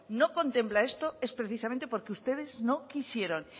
no contempla esto es precisamente porque ustedes no quisieron